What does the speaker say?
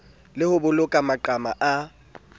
le ho boloka maqhama a